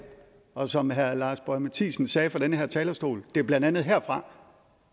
og som herre lars boje mathiesen sagde fra den her talerstol det er blandt andet herfra